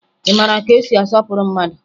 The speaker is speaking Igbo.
Ị mara ka esi asọpụrụ mmadụ?